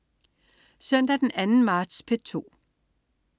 Søndag den 2. marts - P2: